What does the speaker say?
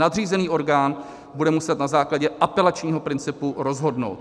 Nadřízený orgán bude muset na základě apelačního principu rozhodnout.